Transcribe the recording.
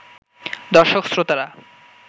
দর্শক-শ্রোতারা